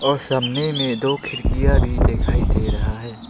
और सामने में दो खिरकिया भी दिखाई दे रहा है।